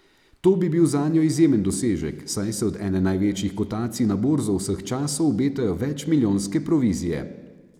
To bi bil zanjo izjemen dosežek, saj se od ene največjih kotacij na borzo vseh časov obetajo večmilijonske provizije.